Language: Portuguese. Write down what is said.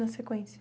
Na sequência.